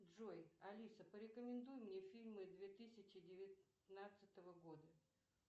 джой алиса порекомендуй мне фильмы две тысячи девятнадцатого года